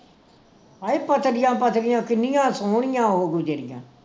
ਹਏ ਪਤਲੀਆਂ ਪਤਲੀਆਂ ਕਿੰਨੀਆਂ ਸੋਹਣੀਆਂ ਉਹ ਗੁੱਜਰੀਆਂ